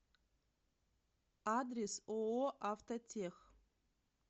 адрес ооо автотех